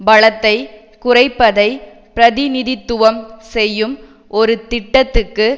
பலத்தை குறைப்பதை பிரதிநிதித்துவம் செய்யும் ஒரு திட்டத்துக்கு